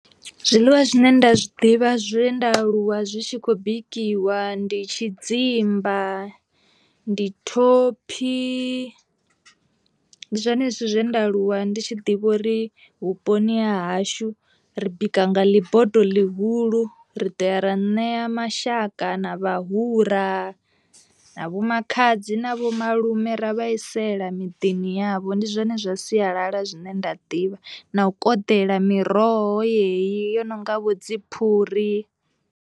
Zwiḽiwa zwine nda zwi ḓivha zwe nda aluwa zwi tshi khou bikiwa ndi tshidzimba, ndi thophi, ndi zwone zwithu zwe nda aluwa ndi tshi ḓivha uri vhuponi ha hashu ri bika nga ḽi bodo ḽihulu ri ḓo ya ra ṋea mashaka na vhahura na vho makhadzi na vho malume ra vhaisela miḓini yavho, ndi zwone zwa sialala zwine nda ḓivha na u koḓela miroho yeyi yo no nga vho dziphuri.